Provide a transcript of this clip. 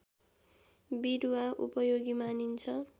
विरुवा उपयोगी मानिन्छ